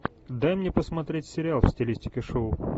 дай мне посмотреть сериал в стилистике шоу